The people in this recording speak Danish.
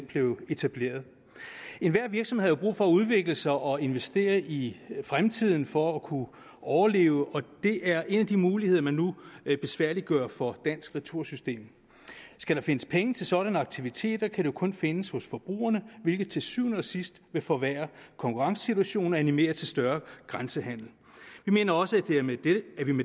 blev etableret enhver virksomhed har jo brug for at udvikle sig og investere i fremtiden for at kunne overleve og det er en af de muligheder man nu besværliggør for dansk retursystem skal der findes penge til sådanne aktiviteter kan de jo kun findes hos forbrugerne hvilket til syvende og sidst vil forværre konkurrencesituationen og animere til større grænsehandel vi mener også at der med det